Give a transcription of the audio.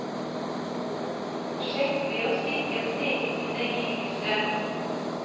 Sjekk ved å stikke en stekepinne i krysset.